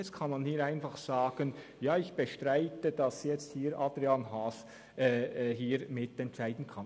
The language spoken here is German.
Jetzt kann man mir einfach sagen, «Ja, ich bestreite, dass Adrian Haas jetzt hier mitentscheiden kann.».